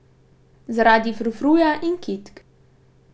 Zaradi frufruja in kitk.